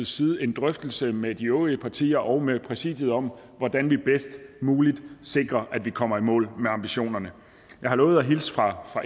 side en drøftelse med de øvrige partier og med præsidiet om hvordan vi bedst muligt sikrer at vi kommer i mål med ambitionerne jeg har lovet at hilse fra